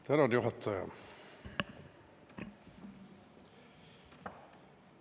Tänan, juhataja!